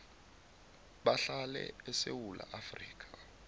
bahlale esewula afrika